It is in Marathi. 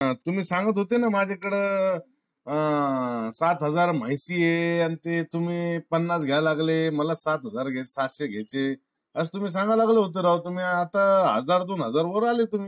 तुम्ही सांगत होते ना माझ्या कड अह पाच हजार माहिती ये. आणि ते तुम्ही पन्नास घ्यायला लागले. मला साठ हजार साठ घ्यायचे. अस तुम्ही सांगय लागले होते राव. तुम्ही आता हजार दोन हजार वर आले तुम्ही